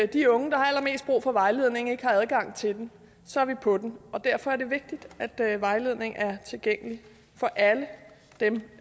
de unge der har allermest brug for vejledning ikke har adgang til det så er vi på den og derfor er det vigtigt at vejledning er tilgængelig for alle dem